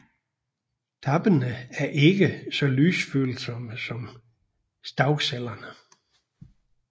Tappene er ikke så lysfølsomme som stavcellerne